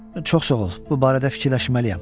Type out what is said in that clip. Çox sağ ol, bu barədə fikirləşməliyəm.